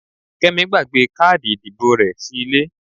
Kẹ́mi gbàgbé káàdì ìdìbò rẹ sí ilé.